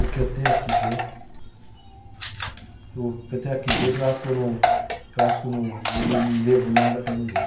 O que eu tenho aqui dentro, o que eu tenho aqui dentro, eu acho que eu não, eu acho que eu não, eu não devo nada para ninguém.